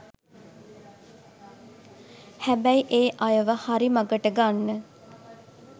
හැබැයි ඒ අයව හරි මඟට ගන්න